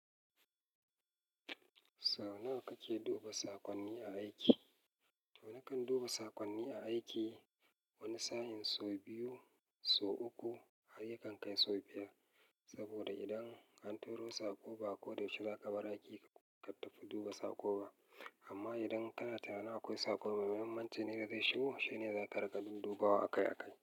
Sau nawa kake duba saƙonni aiki? To nakan duba sakonni aiki wani sa'in sau biyu, sau uku a yayin kan kai sau biyar. Saboda idan an turo saƙo ba ko da yaushe zaka bar aiki ka tafi duba saƙo ba. Amma idan kana tunanin akwai sako mai muhimmanci ne da zai shigo, shine za ka ragadi dubawa aka yi aka yi.